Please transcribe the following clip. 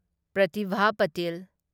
Pratibha Patil